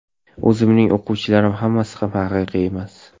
O‘zimning o‘quvchilarim hammasi ham haqiqiy emas.